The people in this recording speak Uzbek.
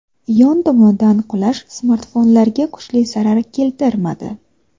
Yon tomonidan qulash smartfonlarga kuchli zarar keltirmadi.